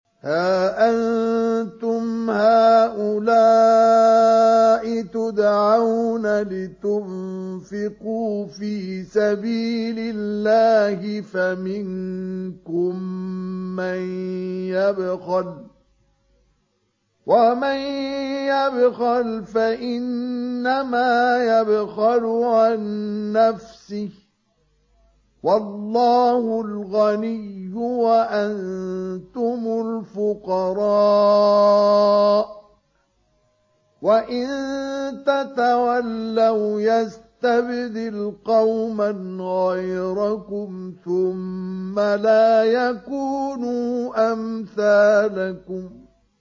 هَا أَنتُمْ هَٰؤُلَاءِ تُدْعَوْنَ لِتُنفِقُوا فِي سَبِيلِ اللَّهِ فَمِنكُم مَّن يَبْخَلُ ۖ وَمَن يَبْخَلْ فَإِنَّمَا يَبْخَلُ عَن نَّفْسِهِ ۚ وَاللَّهُ الْغَنِيُّ وَأَنتُمُ الْفُقَرَاءُ ۚ وَإِن تَتَوَلَّوْا يَسْتَبْدِلْ قَوْمًا غَيْرَكُمْ ثُمَّ لَا يَكُونُوا أَمْثَالَكُم